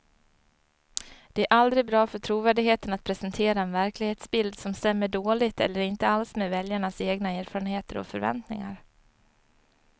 Det är aldrig bra för trovärdigheten att presentera en verklighetsbild som stämmer dåligt eller inte alls med väljarnas egna erfarenheter och förväntningar.